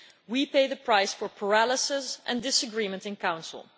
we are paying the price for paralysis and disagreement in Council.